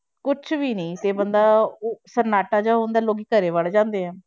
ਕੁਛ ਵੀ ਨੀ ਤੇ ਬੰਦਾ ਉਹ ਸਨਾਟਾ ਜਿਹਾ ਹੁੰਦਾ ਲੋਕੀ ਘਰੇ ਵੜ ਜਾਂਦੇ ਹੈ।